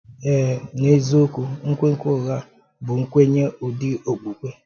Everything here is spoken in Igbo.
Èe, neziokwu, nkwènkwè ụ́gha bụ nkwènye, ụ́dị okpukpè.